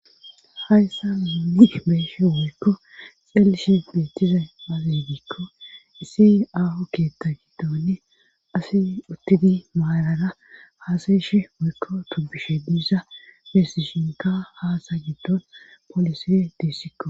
hayssa miduni beeshe woykko xeelishe beethize mazeydiikko isi aho keetta giddoni asi uttidi maalara haasayeshe woykko tubishe diiza beesishinka haasa giddon polise diissikko